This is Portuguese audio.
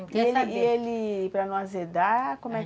E ele... E ele... Para não azedar, como é